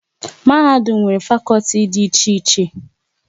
Mahadum nwere fakọlti dị iche iche